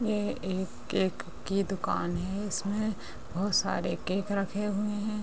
ये एक केक की दुकान है इसमें बहुत सारे केक रखे हुए हैं।